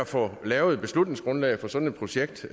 få lavet et beslutningsgrundlag for sådan et projekt